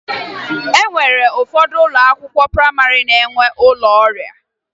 O nwere ụfọdụ ụlọ akwụkwọ prayịmarị na-enwe ụlọ ọrịa